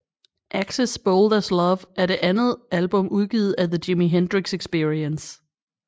Axis Bold as Love er det andet album udgivet af The Jimi Hendrix Experience